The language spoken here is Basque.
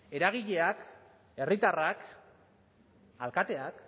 eragileak herritarrak alkateak